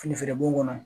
Fini feere b'o kɔnɔ